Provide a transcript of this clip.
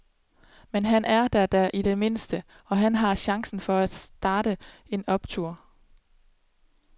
Men han er der da i det mindste, og han har chancen for at starte en optur.